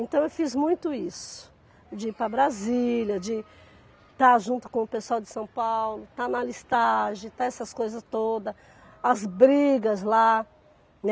Então eu fiz muito isso, de ir para Brasília, de estar junto com o pessoal de São Paulo, estar na listagem, estar essas coisas todas, as brigas lá, né.